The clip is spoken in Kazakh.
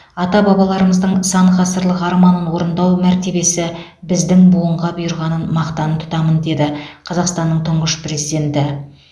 ата бабаларымыздың сан ғасырлық арманын орындау мәртебесі біздің буынға бұйырғанын мақтан тұтамын деді қазақстанның тұңғыш президенті